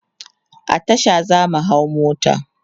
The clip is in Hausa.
a Tasha zamu hau mota